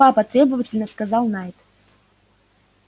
папа требовательно сказал найд